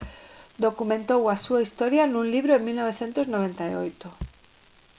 documentou a súa historia nun libro en 1998